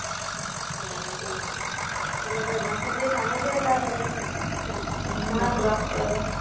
বাবারে এলাকায় বাসার দিয়া সামনে দিয়া যাওয়া যাবে না